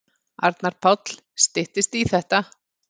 Arnar Páll: Styttist í þetta.